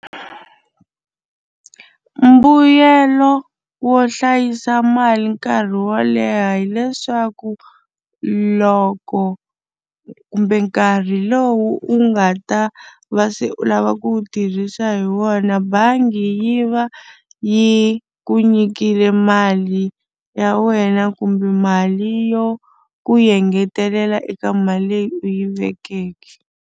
Mbuyelo wo hlayisa mali nkarhi wo leha hileswaku loko kumbe nkarhi lowu u nga ta va se u lava ku wu tirhisa hi wona bangi yi va yi ku nyikile mali ya wena kumbe mali yo ku engetelela eka mali leyi u yi vekeke.